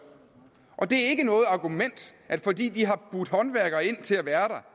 det er ikke noget argument at fordi de har budt håndværkere ind til at være der